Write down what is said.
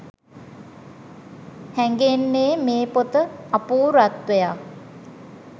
හැඟෙන්නේ මේ පොත අපූර්වත්වයක්